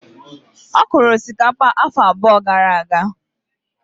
Ọ kọrọ osikapa afọ abụọ gara aga.